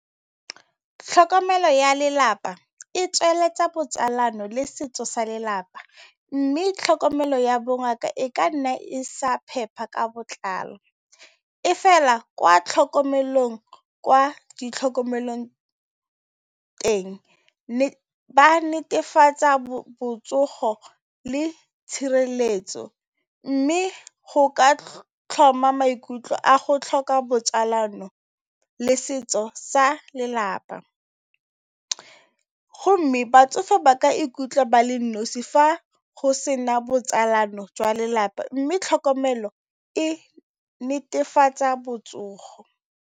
Tlhokomelo ya lelapa e tsweletsa botsalano le setso sa lelapa mme tlhokomelo ya bongaka e ka nna e sa phepa ka botlalo, e fela kwa tlhokomelong kwa di tlhokomelong teng ba netefatsa botsogo le tshireletso. Mme go ka tlhoma maikutlo a go tlhoka botsalano le setso sa lelapa, go mme batsofe ba ka ikutlwa ba le nnosi fa go sena botsalano jwa lelapa mme tlhokomelo e netefatsa botsogo.